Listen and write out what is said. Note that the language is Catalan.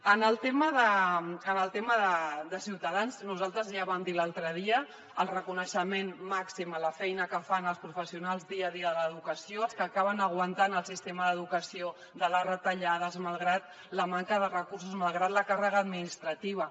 en el tema de ciutadans nosaltres ja ho vam dir l’altre dia el reconeixement màxim a la feina que fan els professionals dia a dia de l’educació els que acaben aguantant el sistema d’educació de les retallades malgrat la manca de recursos malgrat la càrrega administrativa